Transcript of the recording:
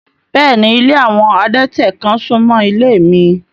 Bẹ́ẹ̀ni, ilé awọn adẹ̀tẹ̀ kan sún mọ́ ilé mi